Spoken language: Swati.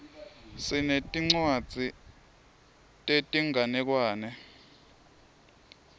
sinetincwadzi tetinganekwane